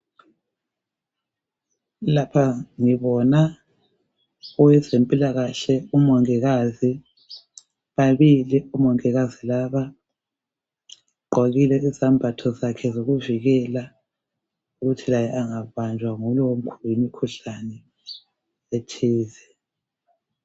Lapha ngibona owezempilakahle umongikazi, babili omongikazi laba. Ugqokile izambatho zakhe zokuvikela ukuthi laye angabanjwa yilo mkhuhlane othize.